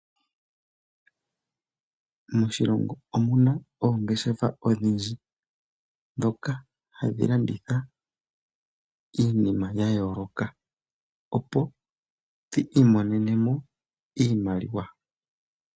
Moshilongo omu na oongeshefa odhindji, dhoka ha dhi landitha iinima ya yooloka opo dhi imonene mo iimaliwa.